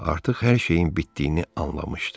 Artıq hər şeyin bitdiyini anlamışdı.